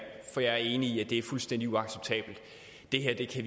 for jeg er enig i at det er fuldstændig uacceptabelt vi kan